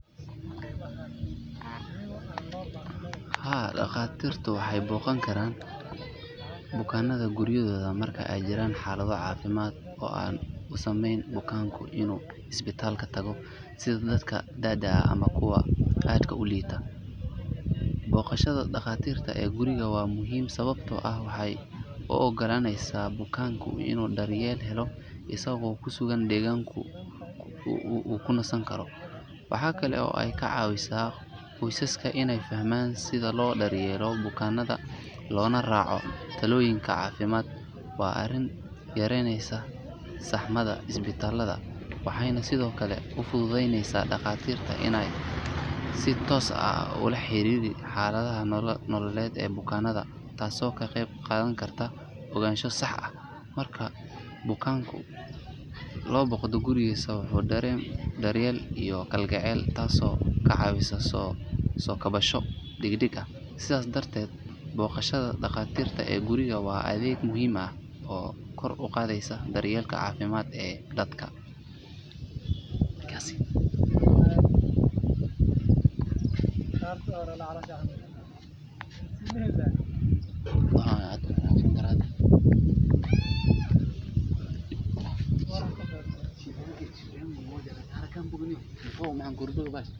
Haa dhaqaatiirta waxay booqan karaan bukaanada guryahooda marka ay jiraan xaalado caafimaad oo aan u saamaxayn bukaanka inuu isbitaalka tago sida dadka da’da ah ama kuwa aadka u liita. Booqashada dhakhtarka ee guriga waa muhiim sababtoo ah waxay u ogolaaneysaa bukaanka inuu daryeel helo isagoo ku sugan deegaanka uu ku nasan karo. Waxa kale oo ay ka caawisaa qoysaska inay fahmaan sida loo daryeelo bukaanka loona raaco talooyinka caafimaad. Waa arrin yareyneysa saxmada isbitaalada waxayna sidoo kale u fududeyneysaa dhaqaatiirta inay si toos ah ula xiriiraan xaaladda nololeed ee bukaanka taasoo ka qeyb qaadan karta ogaansho sax ah. Marka bukaanka la booqdo gurigiisa wuxuu dareemaa daryeel iyo kalgacal taasoo ka caawisa soo kabasho degdeg ah. Sidaas darteed booq.